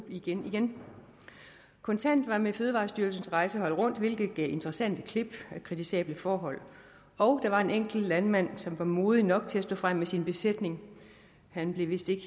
igen igen kontant var med fødevarestyrelsens rejsehold rundt hvilket gav interessante klip af kritisable forhold og der var en enkelt landmand som var modig nok til at stå frem med sin besætning han blev vist ikke